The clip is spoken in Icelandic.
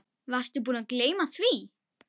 Varstu búinn að gleyma því?